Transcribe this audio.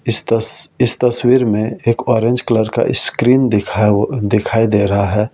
इस तस इस तस्वीर में एक ऑरेंज कलर का स्क्रीन दिख दिखाई दे रहा है ।